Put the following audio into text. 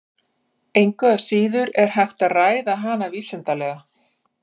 Engu að síður er hægt að ræða hana vísindalega.